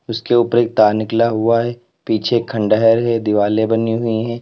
उसके ऊपर एक तार निकला हुआ है पीछे खंडहर है दिवाले बनी हुई है।